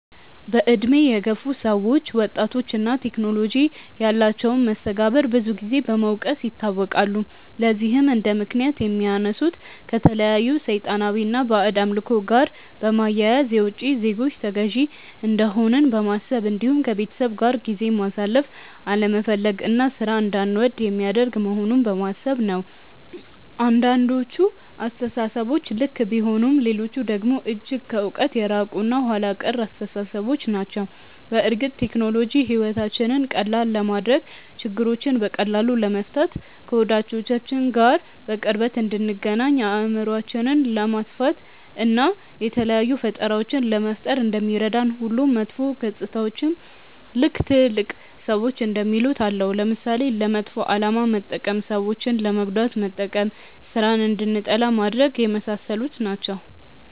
በእድሜ የገፉ ሰዎች ወጣቶች እና ቴክኖሎጂ ያላቸውን መስተጋብር ብዙን ጊዜ በመውቀስ ይታወቃሉ። ለዚህም እንደምክንያት የሚያነሱት ከተለያዩ ሰይጣናዊ እና ባዕድ አምልኮ ጋር በማያያዝ፣ የውቺ ዜጎች ተገዢ እንደሆንን በማሰብ እንዲሁም ከቤተሰብ ጋር ጊዜ ማሳለፍ አለመፈለግ እና ሥራን እንዳንወድ የሚያደርግ መሆኑን በማሰብ ነው። አንዳንዶቹ አስተሳሰቦች ልክ ቢሆኑም ሌሎቹ ደግሞ እጅግ ከእውነት የራቁ እና ኋላ ቀር አስተሳሰቦች ናቸው። በእርግጥ ቴክኖሎጂ ሕይወታችንን ቀላል ለማድረግ፣ ችግሮችን በቀላሉ ለመፍታት፣ ከወዳጆቻችን ጋር በቅርበት እንድንገናኝ፣ አእምሯችንን ለማስፋት፣ እና የተለያዩ ፈጠራዎችን ለመፍጠር እንደሚረዳን ሁሉ መጥፎ ገፅታዎችም ልክ ትልልቅ ሰዎች እንደሚሉት አለው። ለምሳሌ፦ ለመጥፎ አላማ መጠቀም፣ ሰዎችን ለመጉዳት መጠቀም፣ ስራን እንድንጠላ ማድረግ፣ የመሳሰሉት ናቸው።